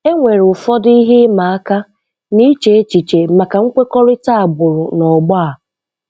Enwere ụfọdụ ihe ịma aka n'iche echiche maka nkwekọrịta agbụrụ na ọgbọ a.